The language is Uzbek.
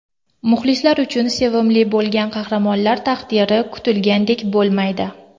Muxlislar uchun sevimli bo‘lgan qahramonlar taqdiri kutilgandek bo‘lmaydi.